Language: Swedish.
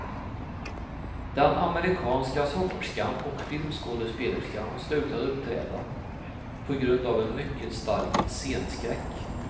Den amerikanska sångerskan och filmskådespelerskan slutade uppträda på grund av en mycket stark scenskräck.